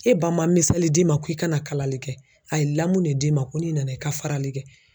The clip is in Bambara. E ba man miseli d'i ma k'i kana kalali kɛ a ye lamu ne d'i ma ko n'i nana i ka farali kɛ.